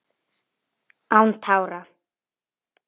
Án tára: